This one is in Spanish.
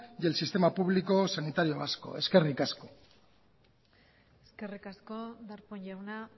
y el sistema público sanitario vasco eskerrik asko eskerrik asko darpón jauna